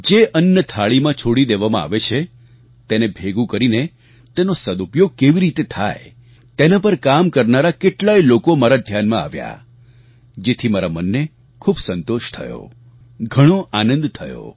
જે અન્ન થાળીમાં છોડી દેવામાં આવે છે તેને ભેગું કરીને તેનો સદઉપયોગ કેવી રીતે થાય તેના પર કામ કરનારા કેટલાય લોકો મારા ધ્યાનમાં આવ્યા જેથી મારા મનને ખૂબ સંતોષ થયો ઘણો આનંદ થયો